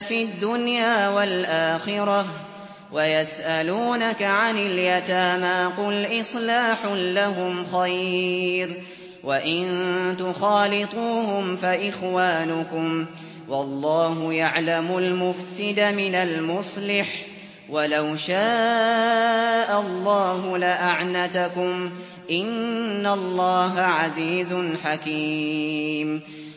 فِي الدُّنْيَا وَالْآخِرَةِ ۗ وَيَسْأَلُونَكَ عَنِ الْيَتَامَىٰ ۖ قُلْ إِصْلَاحٌ لَّهُمْ خَيْرٌ ۖ وَإِن تُخَالِطُوهُمْ فَإِخْوَانُكُمْ ۚ وَاللَّهُ يَعْلَمُ الْمُفْسِدَ مِنَ الْمُصْلِحِ ۚ وَلَوْ شَاءَ اللَّهُ لَأَعْنَتَكُمْ ۚ إِنَّ اللَّهَ عَزِيزٌ حَكِيمٌ